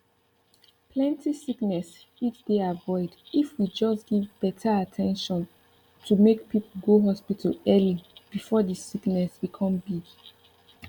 plenty sickness fit dey avoid if we just give better at ten tion to make people go hospital early before the sickness become big